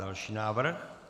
Další návrh.